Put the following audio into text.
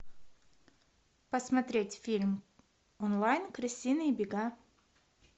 посмотреть фильм онлайн крысиные бега